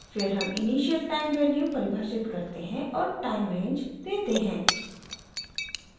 फिर हम इनिशियल शुरूआती टाइम वैल्यू परिभाषित करते हैं और टाइम रेंज देते हैं